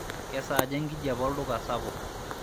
kejaa enkijape olduka sapuk